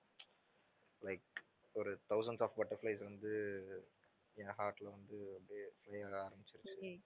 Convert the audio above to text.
like ஒரு thousands of butterflies வந்து என் heart ல வந்து அப்படியே fly ஆக ஆரம்பிச்சிருச்சு